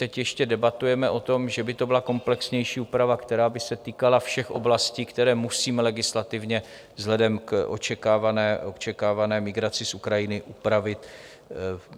Teď ještě debatujeme o tom, že by to byla komplexnější úprava, která by se týkala všech oblastí, které musíme legislativně vzhledem k očekávané migraci z Ukrajiny upravit.